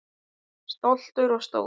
Stoltur og stór.